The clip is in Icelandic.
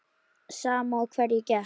Sama á hverju gekk.